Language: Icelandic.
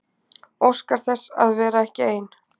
Óskar þess að vera ekki ein.